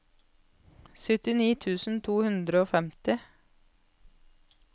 syttini tusen to hundre og femtifire